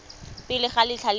pele ga letlha le le